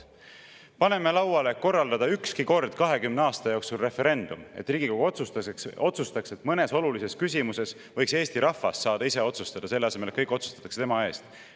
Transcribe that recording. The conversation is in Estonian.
Paneme lauale korraldada ükski kord 20 aasta jooksul referendum, et Riigikogu otsustaks, et mõnes olulises küsimuses võiks Eesti rahvas saada ise otsustada, selle asemel et kõik otsustatakse tema eest.